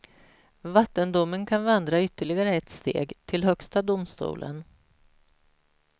Vattendomen kan vandra ytterligare ett steg, till högsta domstolen.